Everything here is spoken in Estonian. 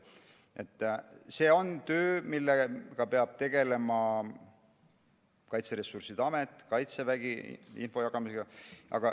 See on töö, millega peab tegelema Kaitseressursside Amet ja Kaitsevägi – info jagamine.